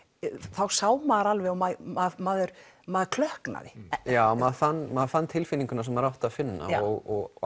þá sá maður alveg og maður maður maður klökknaði já maður fann maður fann tilfinninguna sem maður átti að finna og